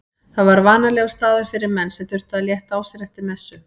Það var vanalegur staður fyrir menn sem þurftu að létta á sér eftir messu.